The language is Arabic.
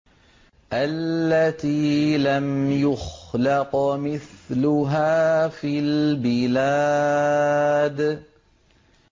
الَّتِي لَمْ يُخْلَقْ مِثْلُهَا فِي الْبِلَادِ